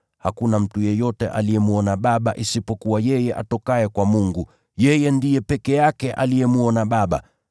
Hakuna mtu yeyote aliyemwona Baba isipokuwa yeye atokaye kwa Mungu, yeye ndiye peke yake aliyemwona Baba.